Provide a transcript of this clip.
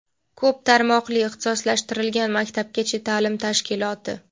ko‘p tarmoqli ixtisoslashtirilgan maktabgacha taʼlim tashkiloti;.